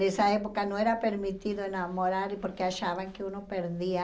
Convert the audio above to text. Nessa época não era permitido enamorar porque achavam que um perdia